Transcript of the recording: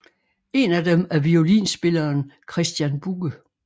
En af dem er violinspilleren Kristian Bugge